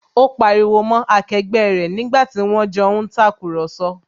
Ó pariwo mọ́ akẹgbẹ́ rẹ̀ nígbàtí wón jọ ń tàkurọ̀sọ